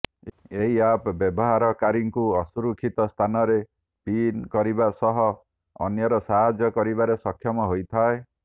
ଏହି ଆପ୍ ବ୍ୟବହାରକାରୀଙ୍କୁ ଅସୁରକ୍ଷିତ ସ୍ଥାନରେ ପିନ୍ କରିବା ସହ ଅନ୍ୟର ସାହାଯ୍ୟ କରିବାରେ ସକ୍ଷମ ହୋଇଥାଏ